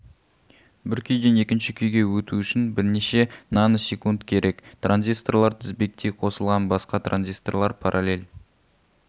бір күйден екінші күйге өту үшін бірнеше наносекунд керек транзисторлар тізбектей қосылған басқа транзисторлар параллель